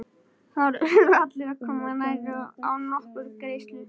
Þar urðu allir að koma nærri og án nokkurrar greiðslu.